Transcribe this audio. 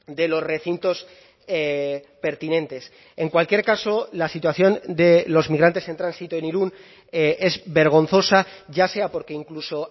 de los recintos pertinentes en cualquier caso la situación de los migrantes en tránsito en irun es vergonzosa ya sea porque incluso